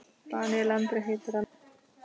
Daníel Andri heitir hann.